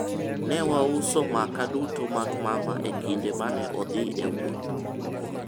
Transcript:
ne wauso makaa duto mag mama e kinde mane odhi e wuoth